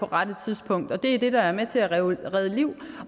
rette tidspunkt det er det der er med til at redde liv